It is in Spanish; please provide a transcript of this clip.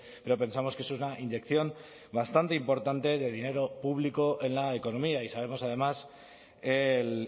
pero pensamos que es una inyección bastante importante de dinero público en la economía y sabemos además el